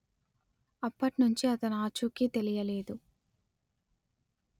అప్పటి నుంచి అతని ఆచూకీ తెలియలేదు